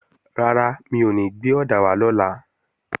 Rárá, mi ò ní gbé ọ̀dà wá lọ́la